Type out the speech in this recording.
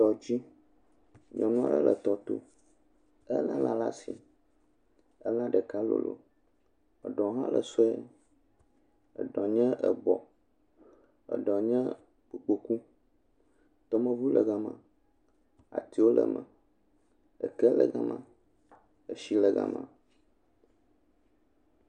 Tɔdzi. Nyɔnua ɖe le tɔto. Ele la ɖe asi ela ɖeka lolo. Eɖɔ hã le sue. Eɖɔ nye ebɔ eɖɔ nye gboku. Tɔmeŋu le ga ma. Atiwo le me. Eke le ga ma. Etsi le ga ma